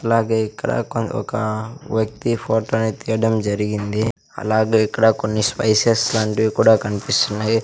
అలాగే ఇక్కడ కొన్ ఒక వ్యక్తి ఫోటో ని తీయడం జరిగింది అలాగే ఇక్కడ కొన్ని స్పైసెస్ లాంటివి కూడా కనిపిస్తున్నాయి.